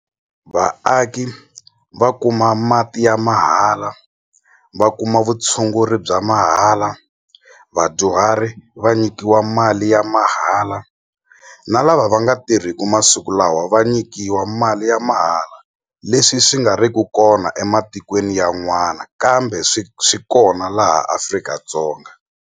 Vaaki va kuma mati ya mahala va kuma vutshunguri bya mahala vadyuhari va nyikiwa mali ya mahala na lava va nga tirhiki masiku lawa va nyikiwa mali ya mahala leswi swi nga ri ku kona ematikweni yan'wana kambe swi swi kona laha Afrika-Dzonga.